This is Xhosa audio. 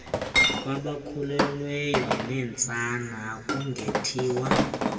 kwabakhulelweyo neentsana akungethiwa